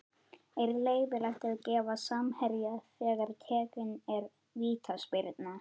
Er leyfilegt að gefa á samherja þegar tekin er vítaspyrna?